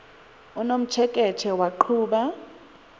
unomtsheke tshe waqhuba